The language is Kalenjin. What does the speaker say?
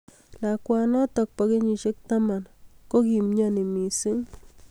Lakwanatak bo kenyishiek taman kokimyoni missing